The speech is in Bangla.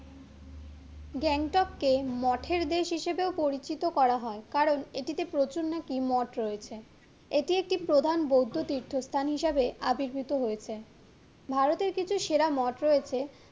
গ্যাংটককে মঠের দেশ হিসাবে পরিচিত করা হয় কারণ এটিতে প্রচুর নাকি মঠ রয়েছে, এটি একটু প্রধান বৌদ্ধ তীর্থ স্থান হিসাবে আবির্ভুত হয়েছে ভারতের কিছু সেরা মঠ রয়েছে